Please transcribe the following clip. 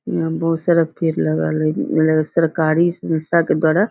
इहाँ बहुत सारा पेड़ लगल हई इ सरकारी संस्था के द्वारा --